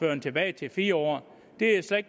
den tilbage til fire år